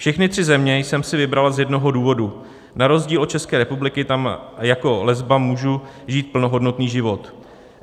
Všechny tři země jsem si vybrala z jednoho důvodu: Na rozdíl od České republiky tam jako lesba můžu žít plnohodnotný život.